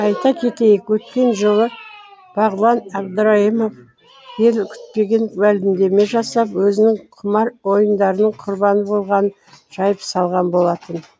айта кетейік өткен жылы бағлан әбдірайымов ел күтпеген мәлімдеме жасап өзінің құмар ойындарының құрбаны болғанын жайып салған болатын